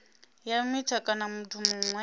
ya mita kana muthu muṅwe